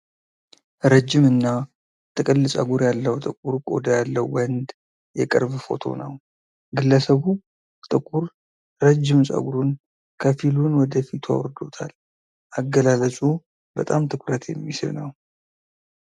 ረጅም እና ጥቅል ፀጉር ያለው ጥቁር ቆዳ ያለው ወንድ የቅርብ ፎቶ ነው። ግለሰቡ ጥቁር ረጅም ጸጉሩን ከፊሉን ወደ ፊቱ አውርዶታል። አገላለጹ በጣም ትኩረት የሚስብ ነው።